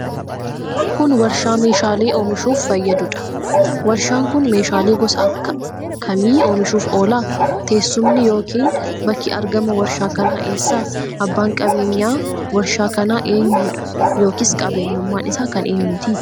Kun, warshaa meeshaalee oomishuuf fayyaduu dha. Warshaan kun, meeshaalee gosa akka kamii oomishuuf oola? Teessumni yokin bakki argamaa warshaa kanaa eessa? Abbaan qabeenyaa warshaa kanaa eenyu dha yokin qabeenyummaan isaa kan eenyuti?